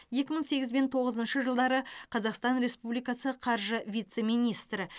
екі мың сегіз бен тоғызыншы жылдары қазақстан республикасы қаржы вице министрі